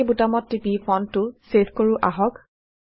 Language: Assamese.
অক বুটামত টিপি ফন্টটো ছেভ কৰো আহক